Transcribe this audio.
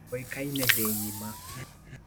Oĩkaine thĩ ngima.